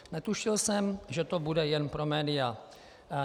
Netušil jsem, že to bude jen pro média.